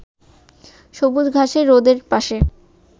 গবুজ ঘাসে রোদের পাশে